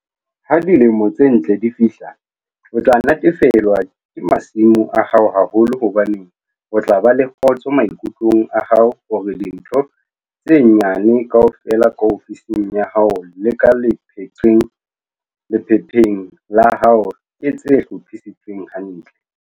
Ha dilemo tse ntle di fihla, o tla natefelwa ke masimo a hao haholo hobane o tla ba le kgotso maikutlong a hao hore dintho tse nyane kaofela ka ofising ya hao le ka lephepheng la hao ke tse hlophisitsweng hantle.